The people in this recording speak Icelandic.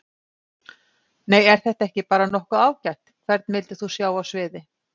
Nei er þetta ekki bara nokkuð ágætt Hvern vildir þú sjá á sviði?